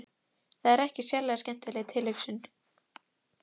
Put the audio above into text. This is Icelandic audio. Það er ekki sérlega skemmtileg tilhugsun.